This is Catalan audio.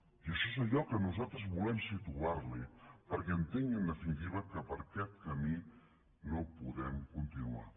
i això és allò que nosaltres volem situar li perquè entengui en definitiva que per aquest camí no podem continuar